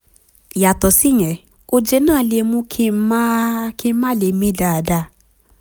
yàtọ̀ síyẹn oje náà lè mú kí n má kí n má lè mí dáadáa